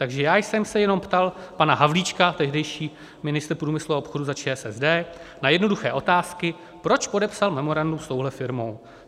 Takže já jsem se jenom ptal pana Havlíčka - tehdejší ministr průmyslu a obchodu za ČSSD - na jednoduché otázky, proč podepsal memorandum s touhle firmou.